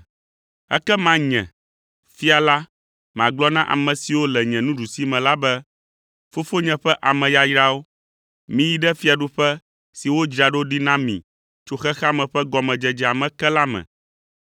“Ekema Nye, Fia la, magblɔ na ame siwo le nye nuɖusime la be, ‘Fofonye ƒe ame yayrawo, miyi ɖe fiaɖuƒe si wodzra ɖo ɖi na mi tso xexea me ƒe gɔmedzedzea me ke la me,